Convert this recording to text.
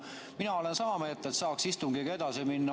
Mina olen sama meelt, soovin istungiga edasi minna.